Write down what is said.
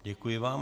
Děkuji vám.